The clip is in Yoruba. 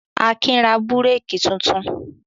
Akin ra búrékì tuntun?